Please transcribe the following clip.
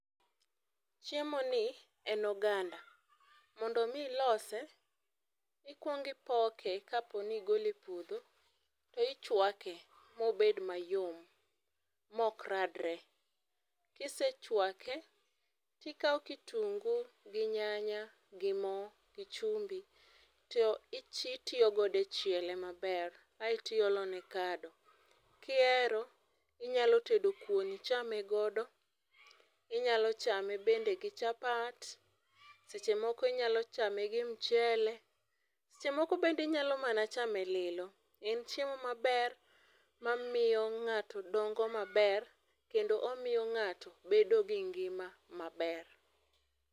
chiemo ni en oganda. Mondo mi ilose, ikwong ipoke kapo ni igole e puodho tichwake mobed mayom mok radre. Kisechwake, tikao kitungu gi nyanya gi moo, gi chumbi to titiyo godo e chiele maber aeto iolone kado. Kihero inyalo tedo kuon ichame godo inyalo chame, bende gi chapat seche moko inyalo chame gi mchele , seche moko bende inyalo kata chame lilo .En chiemo maber, ma miyo ng'ato dongo maber kendo omiyo ng'ato bedo gi ngima maber.